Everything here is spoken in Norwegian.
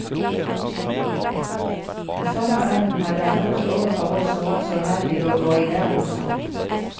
Den samme evnen hadde han også overfor oss som var så heldige å gå i lære hos ham.